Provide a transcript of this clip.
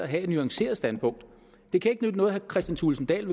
have et nuanceret standpunkt det kan ikke nytte noget at herre kristian thulesen dahl